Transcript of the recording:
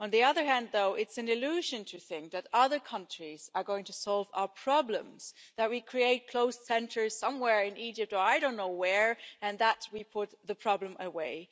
On the other hand, though, it's an illusion to think that other countries are going to solve our problems that we create closed centres somewhere in Egypt or I don't know where and that we put the problem away.